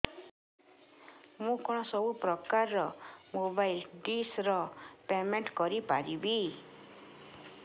ମୁ କଣ ସବୁ ପ୍ରକାର ର ମୋବାଇଲ୍ ଡିସ୍ ର ପେମେଣ୍ଟ କରି ପାରିବି